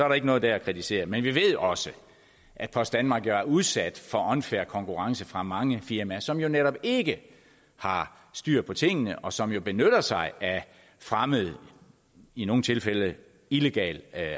der ikke noget der at kritisere men vi ved også at post danmark jo er udsat for unfair konkurrence fra mange firmaer som jo netop ikke har styr på tingene og som jo benytter sig af fremmed i nogle tilfælde illegal